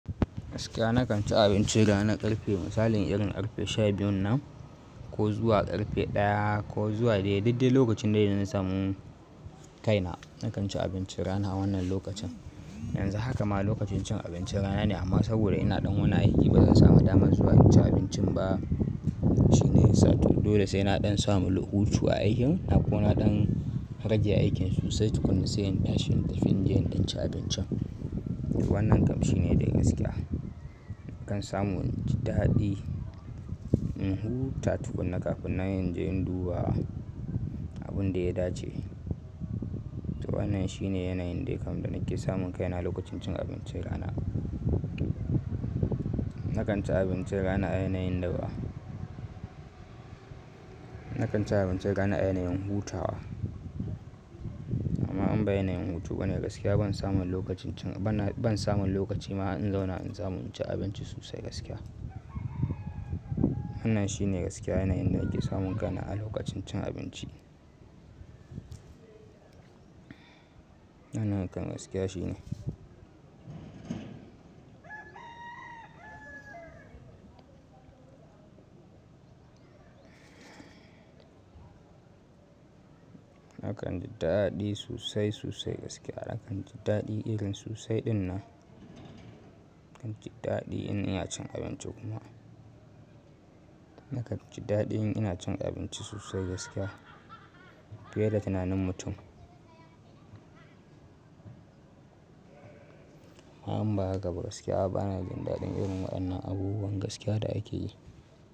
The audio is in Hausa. Gaskiya na kan ci abinci rana ƙarfe misalin irin ƙarfe sha biyun nan ko zuwa ƙarfe ɗaya ko zuwa daidai lokacin da zan samu kaina. Na kan ci abincin rana a wannan lokacin. Yanzu haka ma lokacin cin abincin rana ne amma saboda ina ɗan wani aiki ba zan samu dama zuwa yin cin abincin ba. Shine yasa to dole sai na ɗan samu hutu a aikin na ko na ɗan rage aikin sosai tukuna sai in tashi in tafi inje in ɗan ci abincin. Wannan kam shi ne de gaskiya. Na kan samu jin daɗi in huta tukuna kafin nan inje in duba abun da ya dace. To wannan shi ne yanayin dai kam da nake samun kaina lokacin cin abincin rana. Na kan ci abinci rana a yanayin da ba. Na kan ci abinci rana a yanayin hutawa amma in ba yanayin hutu bane gaskiya ban samu lokacin cin bana ban samu lokaci ma har in zauna in samu cin abinci sosai gaskiya. Wannan shi ne gaskiya yanayin da nake samun kaina a lokacin cin abinci. Wannan kam gaskiya shi ne. Na kan ji daɗi sosai sosai gaskiya na kan ji daɗi irin sosai ɗinnan. Na kan ji daɗi in ina cin abinci kuma. Na kan ji daɗi in ina cin abinci sosai gaskiya fiye da tunanin mutum. Amma inba haka ba gaskiya bana jin daɗin irin waɗannan abubuwan gaskiya da ake yi.